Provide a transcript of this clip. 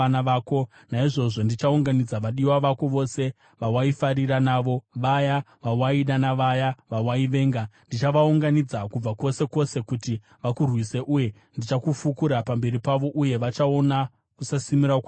Naizvozvo ndichaunganidza vadiwa vako vose, vawaifara navo, vaya vawaida navaya vawaivenga. Ndichavaunganidza kubva kwose kwose kuti vakurwise uye ndichakufukura pamberi pavo uye vachaona kusasimira kwako kwose.